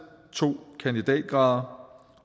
to kandidatgrader